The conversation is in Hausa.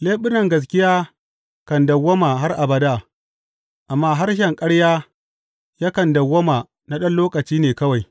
Leɓunan gaskiya kan dawwama har abada, amma harshen ƙarya yakan dawwama na ɗan lokaci ne kawai.